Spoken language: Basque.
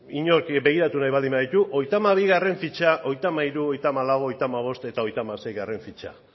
inork begiratu nahi baldin baditu hogeita hamabigarrena fitxa hogeita hamairu hogeita hamalau hogeita hamabost eta hogeita hamaseigarrena fitxa